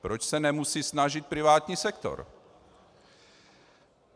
Proč se nemusí snažit privátní sektor?